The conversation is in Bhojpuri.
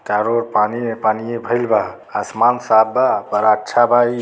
चारों ओर पानी है। पानीये भईल बा। आसमान साफ बा पर अच्छा बा ई।